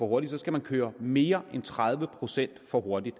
hurtigt skal man køre mere end tredive procent for hurtigt